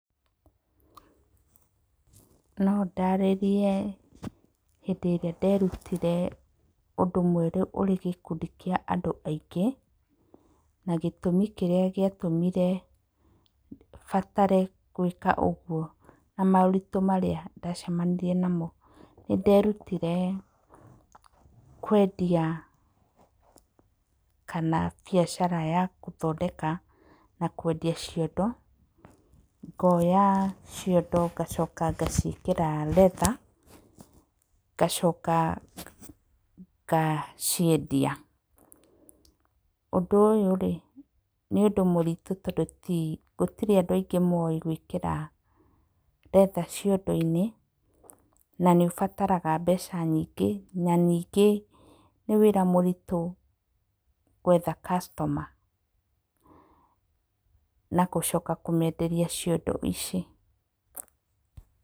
No ndaarĩrie hĩndĩ ĩrĩa nderutire ũndũ mwerũ ũrĩ gĩkundi kĩa andũ aingĩ na gĩtũmĩ kĩrĩa gĩatũmire batare gwĩka ũguo na moritũ marĩa ndacemanirie namo. Nĩ nderutire kwendia, kana biacara ya gũthondeka na kwendia ciondo. Ngoya ciondo ngacoka ngaciĩkĩra leather ngacoka ngaciendia. Ũndũ ũyũ rĩ nĩ ũndũ mũritũ, tondũ ti gũtirĩ andũ aingĩ mowĩ gwĩkĩra leather ciondo-inĩ na nĩ ũbataraga mbeca nyingĩ. Na ningĩ nĩ wĩra mũritũ gwetha customer na gũcoka kũmenderia ciondo ici.